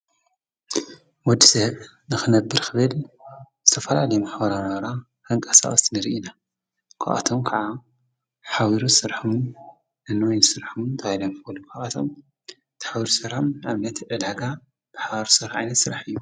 ወዲዘብ ነኽነብር ኽበል ተፈላሌየም ሓውራናራ ሕንቃ ሳወስት ንሪ ኢና ጐኣቶም ከዓ ኃውሩሠርሕም ኣኖይን ሥርሕም ታይለም ፈልፍዓቶም ተኃሩሠራም ኣምነቲ ዕዳጋ ብሓርሠርዓለ ሥራሕ እዩ።